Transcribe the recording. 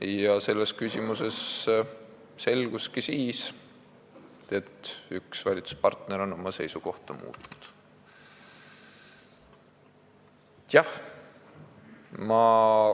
Nii et selles küsimuses selgus, et üks valitsuspartner on oma seisukohta muutnud.